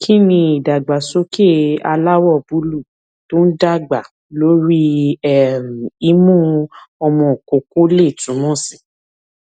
kí ni idagbasoke aláwọ búlúù tó ń dàgbà lórí um imu omo koko lè túmọ sí